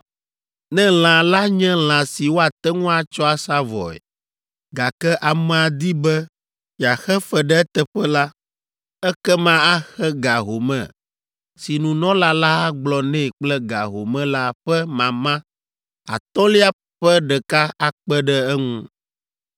Ne lã la nye lã si woate ŋu atsɔ asa vɔe, gake amea di be yeaxe fe ɖe eteƒe la, ekema axe ga home si nunɔla la agblɔ nɛ kple ga home la ƒe mama atɔ̃lia ƒe ɖeka akpe ɖe eŋu.